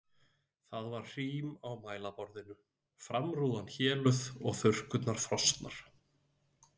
Það var hrím á mælaborðinu, framrúðan héluð og þurrkurnar frosnar.